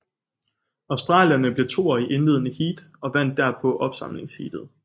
Australierne blev toer i indledende heat og vandt derpå opsamlingsheatet